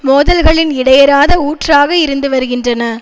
மோதல்களின் இடையராத ஊற்றாக இருந்துவருகின்றன